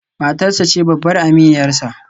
Matarsa ​​ce babbar aminiyarsa